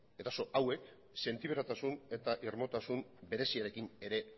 eraso hauek sentiberatasun eta irmotasun bereziarekin ere